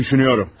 Düşünürəm.